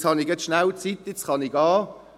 : «Jetzt habe ich kurz Zeit, jetzt kann ich gehen.